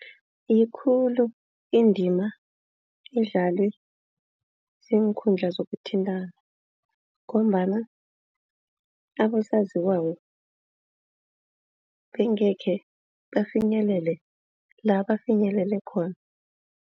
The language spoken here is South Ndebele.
Yikulu indima idlalwe ziinkundla zokuthintana ngombana abosaziwako bengekhe bafinyelele la bafinyelele khona.